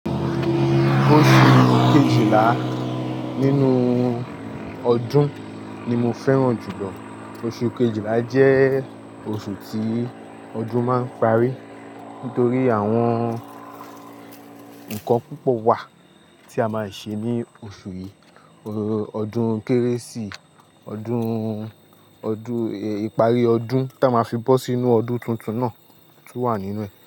Oṣù Kejìlá nínú ọdún ni mo fẹ́ràn jùlọ. Oṣù Kejìlá jẹ́ oṣù tí ọdún máa ń parí. Nítorí àwọn ǹkan púpọ̀ wà tí a máa ń ṣe ní oṣù yìí. Ọdún Kérésì, ọdún, ọdún, ìparí ọdún ta máa fi bọ́ sí inú ọdún tuntun náà tún wà nínú ẹ.